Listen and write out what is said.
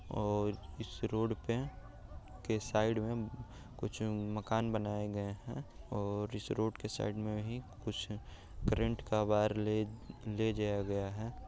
और इस रोड पे के साइड में कुछ मकान बनाए गए हैं और इस रोड के साइड में ही कुछ करेंट का वायर ले ले जाया गया है।